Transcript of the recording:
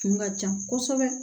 Kun ka ca kosɛbɛ